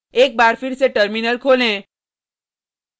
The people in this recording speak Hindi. एक बार फिर से टर्मिनल खोलें